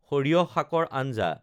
সৰিয়হ শাকৰ আঞ্জা